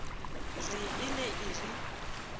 re e ne e re